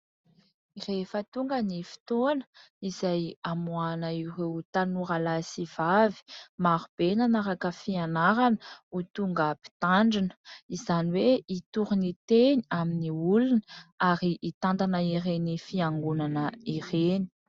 Rehefa tonga ny fotoana izay amoahana ireo tanora lahy sy vavy marobe nanaraka fianarana ho tonga mpitandrina, izany hoe hitory ny teny amin'ny olona ary hitantana ireny fiangonana ireny.